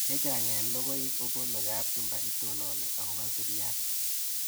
Chechang' eng' lokoi kopunu kapchumba itonin akopo siriat